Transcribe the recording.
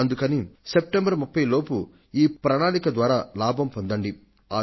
అందుకని సెప్టెంబర్ 30 లోపు ఈ ప్రణాళిక ద్వారా లాభం పొందండి